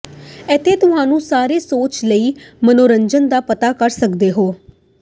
ਇੱਥੇ ਤੁਹਾਨੂੰ ਸਾਰੇ ਸੋਚ ਲਈ ਮਨੋਰੰਜਨ ਦਾ ਪਤਾ ਕਰ ਸਕਦੇ ਹੋ